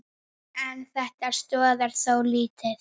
En þetta stoðar þó lítt.